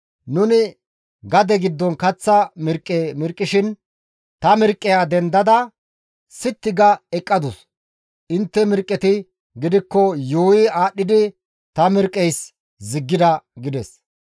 Nuni gade giddon kaththa mirqqe mirqqishin ta mirqqeya dendada sitti ga eqqadus; intte mirqqeti gidikko yuuyi aadhdhidi ta mirqqeysi ziggida» gides.